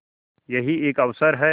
यही एक अवसर है